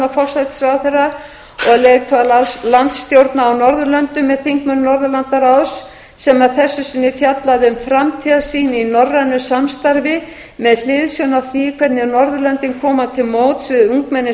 forsætisráðherra og leiðtoga landsstjórna á norðurlöndum með þingmönnum norðurlandaráðs sem að þessu sinni fjallaði um framtíðarsýn í norrænu samstarfi með hliðsjón af því hvernig norðurlöndin koma til móts við ungmenni